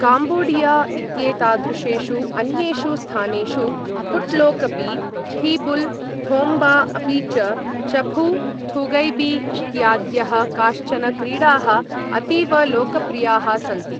Cambodia इत्येतादृशेषु अन्येषु स्थानेषु खुट्लोकपी, फिबुल थोम्बा अपि च चफू थुगैबी इत्याद्यः काश्चन क्रीडाः अतीव लोकप्रियाः सन्ति।